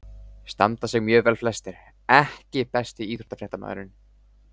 Standa sig mjög vel flestir EKKI besti íþróttafréttamaðurinn?